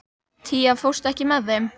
Tía, ekki fórstu með þeim?